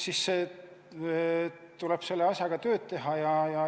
Nii et tuleb selle asjaga tööd teha.